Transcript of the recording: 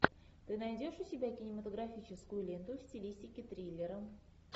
ты найдешь у себя кинематографическую ленту в стилистике триллера